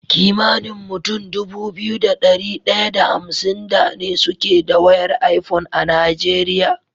Kimanin mutun Dubu biyu da dari daya da hamsin da ne suke da wayar iphone a nigeria